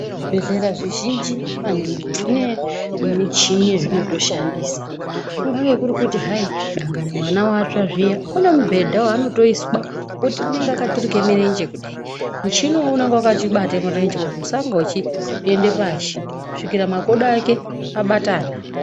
Zvibhehlera zvizhinji maningi zvine michini yezvinotoshandisa kungave kuri kuti hayi dandangani mwana watsva zviya une mubhedha waanotoiswa ngokuti unenge akaturike murenje kudayi. Muchini uwowo unenge wakachibate murenje kuti usange uchiende pashi kusvikira makodo ake abatana.